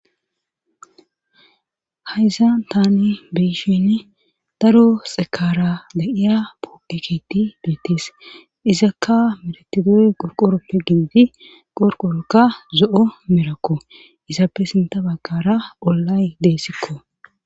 Hayzan tani beyishinn daro xekara da'iya pogiketi duettis izakka meratidoy gorqoroppe gigidi qorqorokka zo'o merakko izappe sinta bakara ollay deessikko.